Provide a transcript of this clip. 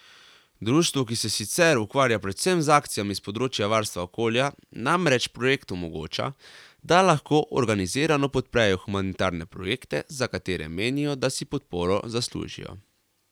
Društvu, ki se sicer ukvarja predvsem z akcijami s področja varstva okolja, namreč projekt omogoča, da lahko organizirano podprejo humanitarne projekte, za katere menijo, da si podporo zaslužijo.